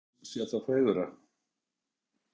Kristján Már Unnarsson: Hefurðu séð það fegurra?